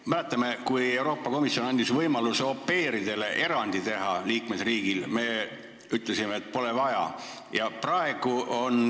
Me mäletame, et kui Euroopa Komisjon andis liikmesriigile võimaluse au pair'idele erand teha, siis me ütlesime, et pole vaja.